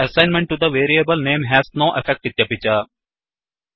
the assignment to the variable name has no effectइत्यपि च